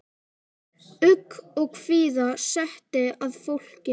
Ugg og kvíða setti að fólki.